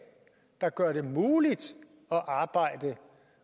der gør det muligt at arbejde